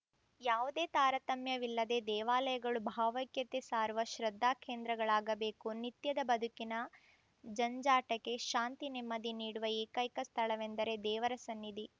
ಯಾವುದೇ ತಾರತಮ್ಯವಿಲ್ಲದೇ ದೇವಾಲಯಗಳು ಭಾವೈಕ್ಯತೆ ಸಾರುವ ಶ್ರದ್ದಾಕೇಂದ್ರಗಳಾಗಬೇಕು ನಿತ್ಯದ ಬದುಕಿನ ಜಂಜಾಟಕ್ಕೆ ಶಾಂತಿ ನೆಮ್ಮದಿ ನೀಡುವ ಏಕೈಕ ಸ್ಥಳವೆಂದರೆ ದೇವರ ಸನ್ನಿಧಿ